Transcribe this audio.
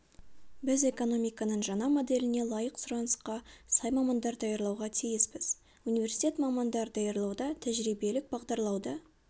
біз экономиканың жаңа моделіне лайық сұранысқа сай мамандар даярлауға тиіспіз университет мамандар даярлауда тәжірибелік бағдарлауды